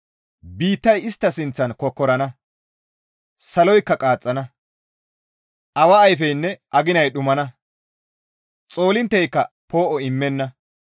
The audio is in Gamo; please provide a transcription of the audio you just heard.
Biittay istta sinththan kokkorana saloykka qaaxxana; awa ayfeynne aginay dhumana; xoolintteyka poo7o immenna.